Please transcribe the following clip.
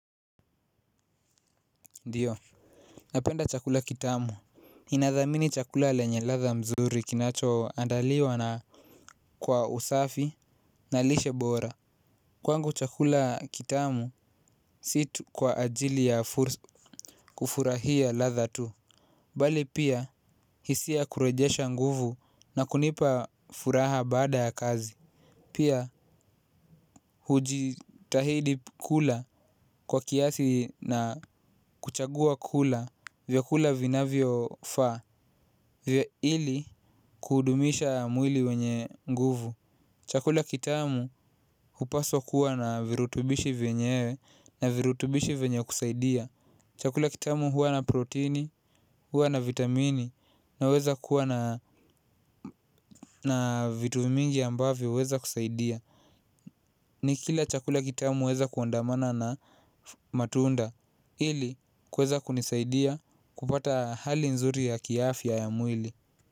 Ndiyo, napenda chakula kitamu ninadhamini chakula lenye ladha mzuri kinachoandaliwa na kwa usafi na lishe bora. Kwangu chakula kitamu si tu kwa ajili ya kufurahia ladha tu. Bali pia hisia kurejesha nguvu na kunipa furaha baada ya kazi. Pia hujitahidi kula kwa kiasi na kuchagua kula vyakula vinavyofaa ili kudumisha mwili wenye nguvu. Chakula kitamu hupaswa kuwa na virutubishi venyewe na virutubishi venye kusaidia chakula kitamu huwa na proteini, huwa na vitamini naweza kuwa na vitu mingi ambavyo huweza kusaidia. Nikikila chakula kitamu waeza kuandamana na matunda ili kuweza kunisaidia kupata hali nzuri ya kiafya ya mwili.